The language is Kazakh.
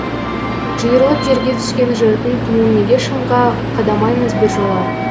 жиырылып жерге түскен жырдың туын неге шыңға қадамаймыз біржола